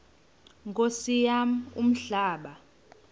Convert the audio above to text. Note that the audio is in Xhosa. nkosi yam umhlaba